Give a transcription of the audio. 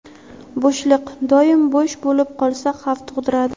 Bo‘shliq - doim bo‘sh bo‘lib qolsa xavf tug‘diradi.